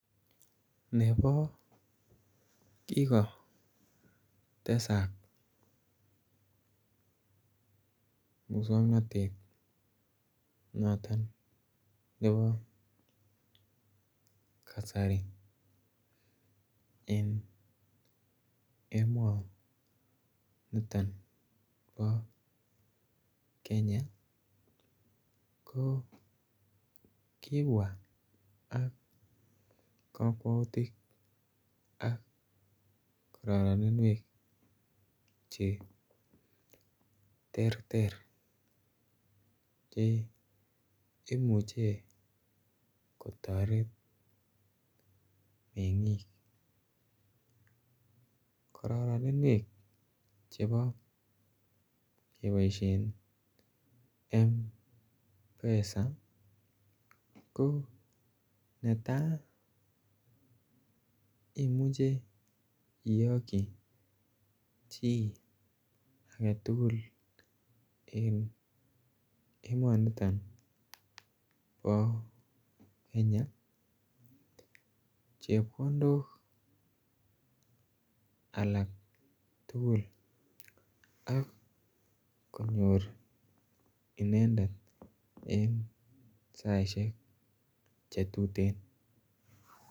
Nebo kigotesak muswongnotet noton nebo kasari en emoniton bo Kenya ko kibwaa ak kokwoutik ak kororoninwek che terter che imuche kotoret mengiik. Kororoninwek chebo keboishen mpesa ko imuche iyokyi chi agetugul en emoniton bo kenya chepkondok alak tugul ak konyor inendet en saishek che tuten